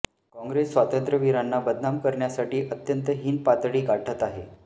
काँग्रेस स्वातंत्र्यवीरांना बदनाम करण्यासाठी अत्यंत हीन पातळी गाठत आहे